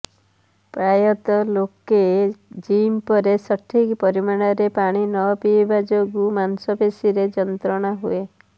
ପ୍ରାୟତଃ ଲୋକେ ଜିମ୍ ପରେ ସଠିକ୍ ପରିମାଣରେ ପାଣି ନପିଇବା ଯୋଗୁ ମାଂସପେଶୀରେ ଯନ୍ତ୍ରଣା ହୁଏ